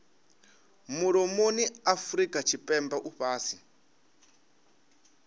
mulomoni afurika tshipembe u fhasi